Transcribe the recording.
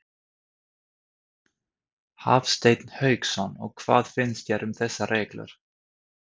Hafsteinn Hauksson: Og hvað finnst þér um þessar reglur?